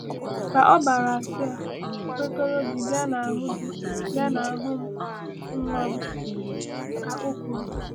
“Ka ọbara asị a kwekọrọ gị bịa n’ahụ gị bịa n’ahụ m, nwa m,” ka o kwuru.